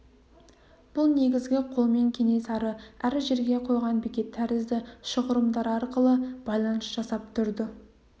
бұл негізгі қолмен кенесары әр жерге қойған бекет тәрізді шұғырымдар арқылы байланыс жасап тұрды